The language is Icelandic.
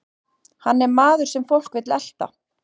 Hann er maður sem fólk vill elta.